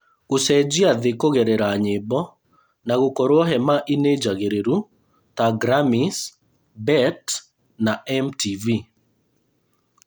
Gũcenjia thĩ kũgerera nyĩmbo na gũkorwo hema inĩ njagĩrĩru ta Grammys, BET na MTV.